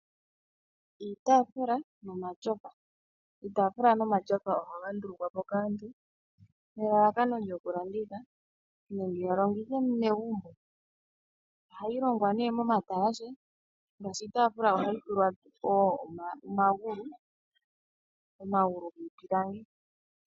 Iitafula omatyofa, iitafula nomatyofa oha gandulukwapo kaantu nelala kano lyokulanditha nenge yalongithe megumbo, oha yilongela ne momatalashe ngeshi iitafula ohayi tulwa omangulu ngipilangi.